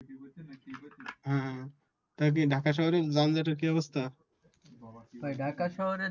ঢাকা শহরে